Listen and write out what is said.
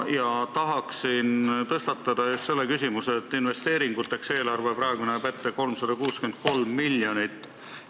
Ma tahan tõstatada just selle küsimuse, et investeeringuteks näeb eelarve praegu ette 63 miljonit.